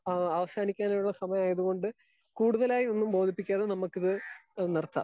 Speaker 2 അ അവസാനിക്കാനായ സമയം ആയത് കൊണ്ട് കൂടുതൽ ആയി ഒന്നും ബോതിപ്പിക്കാതെ നമുക്ക് ഇത് നിർത്താം.